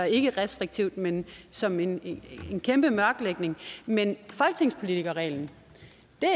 ikke restriktivt men som en kæmpe mørklægning men folketingspolitikerreglen